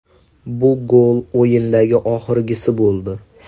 Bu gol o‘yindagi oxirgisi bo‘ldi.